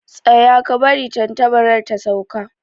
Tsaya, ka bari tantabar ta sauka